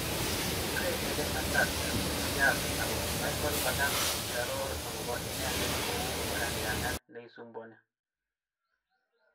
Kure Eden Hazard "muriat" ako Michael Ballack kokiaror akopo ine det kou "kalyangat nesumbuani".